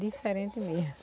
Diferente mesmo.